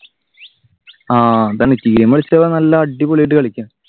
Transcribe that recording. ആഹ് അതാണ് tdm കളിച്ച നല്ല അടിപൊളിയായിട്ട് കളിക്കാം.